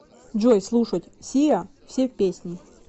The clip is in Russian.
джой слушать сиа все песни